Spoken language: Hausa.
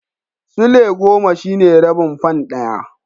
Sulai goma shine rabin fan ɗaya.